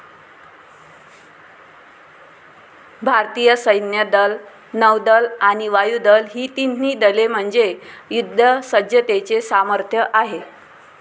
भारतीय सैन्य दल, नौदल आणि वायुदल ही तिन्ही दले म्हणजे युद्धसज्जतेचे सामर्थ्य आहे.